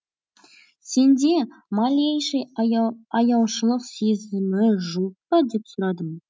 сенде малейший аяушылық сезімі жоқ па деп сұрадым